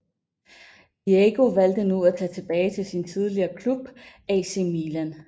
Diego valgte nu at tage tilbage til sin tidligere klub AC Milan